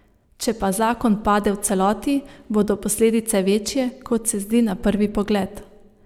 Če pa zakon pade v celoti, bodo posledice večje, kot se zdi na prvi pogled.